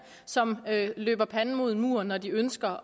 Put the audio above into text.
som løber panden mod en mur når de ønsker